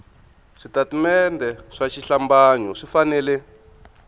switatimende swa xihlambanyo swi fanele